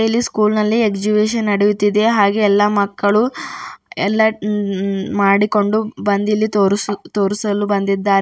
ಇಲ್ಲಿ ಸ್ಕೂಲ್ ನಲ್ಲಿ ಎಕ್ಸಿಬಿಷನ್ ನಡೆಯುತ್ತಿದೆ ಹಾಗೇ ಎಲ್ಲಾ ಮಕ್ಕಳು ಎಲ್ಲಾ ಹಮ್ ಉಮ್ ಮಾಡಿಕೊಂಡು ಬಂದ್ ಇಲ್ಲಿ ತೋರ್ಸು ತೋರಿಸಲು ಬಂದಿದ್ದಾ--